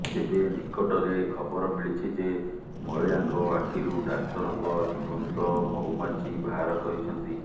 ତେବେ ନିକଟରେ ଖବର ମିଳିଛି କି ମହିଳାଙ୍କ ଆଖିରୁ ଡାକ୍ତରଙ୍କ ଜୀବନ୍ତ ମହୁମାଛି ବାହାର କରିଛନ୍ତି